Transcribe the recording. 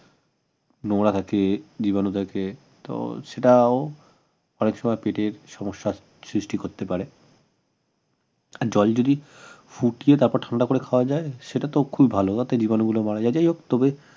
নোংরা থাকে জীবাণু থাকে তো সেটাও অনেক সময় পেটের সমস্যার সৃষ্টি করতে পারে জল যদি ফুটিয়ে তারপর ঠান্ডা করে খাওয়া যায় সেটা তো খুব ভাল যাতে জীবাণুগুলো মারা যায় যাইহোক তবে